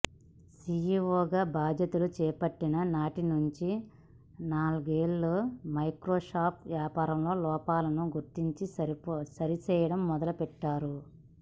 సిఈఓగా బాధ్యతలు చేపట్టిన నాటినుంచే నాదెళ్ల మైక్రోసాఫ్ట్ వ్యాపారంలో లోపాలను గుర్తించి సరిచేయడం మొదలుపెట్టారు